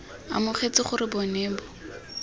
amogetse gore bo ne bo